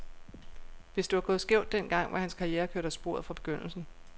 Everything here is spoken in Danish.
Hvis det var gået skævt den gang, var hans karriere kørt af sporet fra begyndelsen.